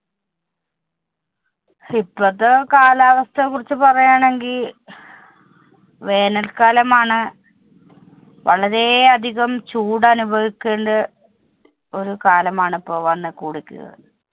ഇപ്പഴത്തെ കാലാവസ്ഥയെ കുറിച്ച് പറയാണെങ്കി വേനല്‍ക്കാലമാണ്. വളരേയധികം ചൂടനുഭവിക്കണ്ട ഒരു കാലമാണ് ഇപ്പോ വന്നു കൂടിക്ക്.